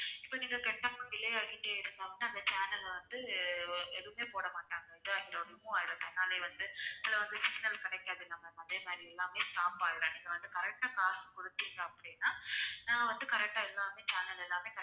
இப்போ நீங்க கட்டாம delay ஆக்கிட்டு இருந்தோம் அப்படின்னா அந்த channel ல வந்து எதுவுமே போடமாட்டாங்க தன்னாலே வந்து சில வந்து signal கிடைக்காது இந்த மாதிரி எல்லாமே நீங்க வந்து correct ஆ காசு கொடுத்தீங்க அப்படின்னா நான் வந்து correct ஆ எல்லாமே channel எல்லாமே